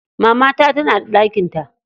Mamata tana da ɗakin ta.